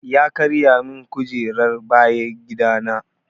Ya karya min kujerar bayan gida na.